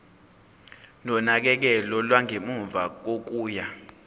nonakekelo lwangemuva kokuya